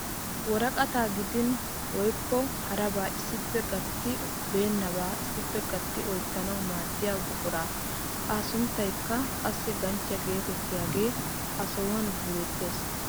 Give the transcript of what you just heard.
Woraqataa giddin woykko harabaa issippe gaytti beennabaa issippe gatti oyttanawu maaddiyaa buquraa a sunttaykka qassi ganchchiyaa getettiyaagee a sohuwaan beettees!